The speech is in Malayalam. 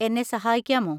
എന്നെ സഹായിക്കാമോ?